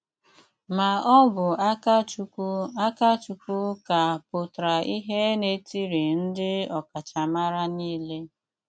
Má ọ́ bụ́ Ákachụ́kwú Ákachụ́kwú ká pútrá ìhé n’etírị ndị ọkachámára niile.